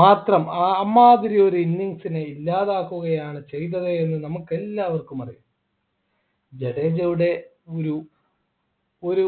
മാത്രം ആഹ് അമ്മാതിരി ഒരു innings നെ ഇല്ലാതാക്കുകയാണ് ചെയ്തത് എന്ന് നമുക്കെല്ലാവർക്കും അറിയാം ജഡേജയുടെ ഒരു ഒരു